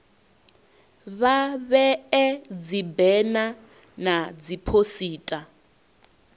vha vhee dzibena na dziphosita